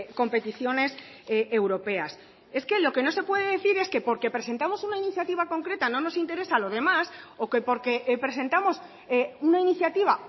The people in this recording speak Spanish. competiciones europeas es que lo que no se puede decir es que porque presentamos una iniciativa concreta no nos interesa lo demás o que porque presentamos una iniciativa